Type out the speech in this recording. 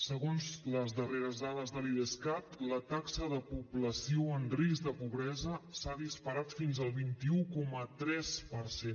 segons les darreres dades de l’idescat la taxa de població en risc de pobresa s’ha disparat fins al vint un coma tres per cent